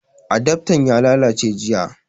Adaftan ya lallace jiya